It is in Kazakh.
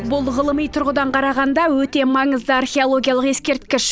бұл ғылыми тұрғыдан қарағанда өте маңызды археологиялық ескерткіш